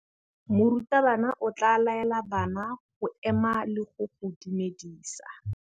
Morutabana o tla laela bana go ema le go go dumedisa.